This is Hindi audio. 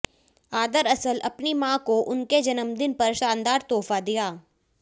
ऑदरअसल अपनी मां को उनके जन्मदिन पर शानदार तोहफा दिया